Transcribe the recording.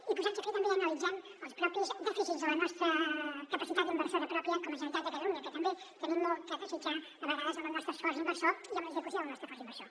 i posats a fer també analitzem els propis dèficits de la nostra capacitat inversora pròpia com a generalitat de catalunya que també hi tenim molt a desitjar a vegades en el nostre esforç inversor i en l’execució del nostre esforç inversor